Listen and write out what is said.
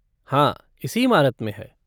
हाँ, इसी इमारत में है।